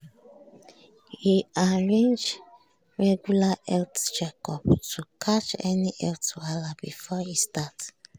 e arrange regular health checkups to catch any health wahala before e start.